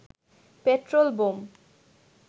petrol bomb